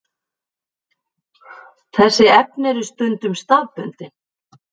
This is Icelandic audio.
Þessi efni eru stundum staðbundin.